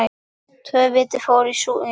Tvö víti fóru í súginn.